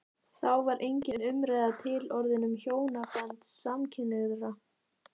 Þá var engin umræða til orðin um hjónaband samkynhneigðra.